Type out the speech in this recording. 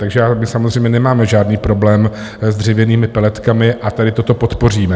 Takže my samozřejmě nemáme žádný problém s dřevěnými peletkami a tady toto podpoříme.